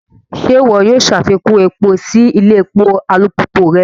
Ṣe iwọ o ṣafikun epo si ilé èpò alupupu rẹ?